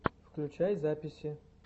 включай записи